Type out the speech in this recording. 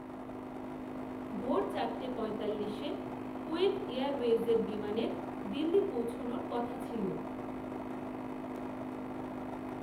ভোর চারটে পঁয়তাল্লিশে, কূয়েত এয়ারওয়েজের বিমানের, দিল্লি পৌঁছোনোর কথা ছিল